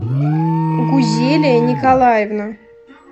гузелия николаевна